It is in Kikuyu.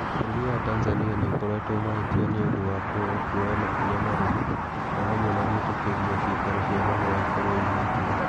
Bũrũri wa Tanzania nĩ ũkoretwo mahĩtia nĩ ũndũ wa kwaga kuoya makinya marũmu, o hamwe na gwĩtĩkĩria ciikaro cia mahoya ikorũo ihingũre.